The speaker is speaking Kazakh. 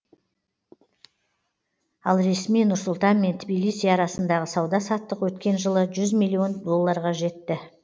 ал ресми нұр сұлтан мен тбилиси арасындағы сауда саттық өткен жылы жүз миллион долларға жетті